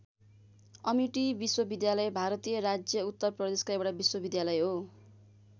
Amity विश्वविद्यालय भारतीय राज्य उत्तर प्रदेशको एउटा विश्वविद्यालय हो।